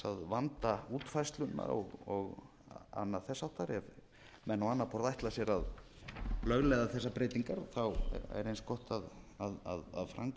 vanda útfærsluna og annað þess háttar ef menn á annað borð ætla sér að lögleiða þessar rbeytignar er eins gott að framkvæmdin